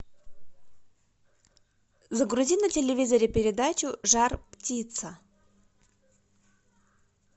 загрузи на телевизоре передачу жар птица